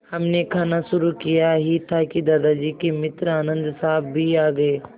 हमने खाना शुरू किया ही था कि दादाजी के मित्र आनन्द साहब भी आ गए